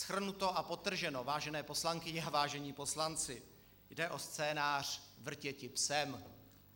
Shrnuto a podtrženo, vážené poslankyně a vážení poslanci, jde o scénář Vrtěti psem.